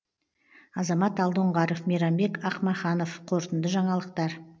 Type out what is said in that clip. азамат алдоңғаров мейрамбек ақмаханов қорытынды жаңалықтар